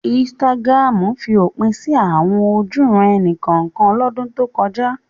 Instagram fi òpin sí àwọn ojúuran-ẹni kọ̀ọ̀kan lọ́dún tó kọjá.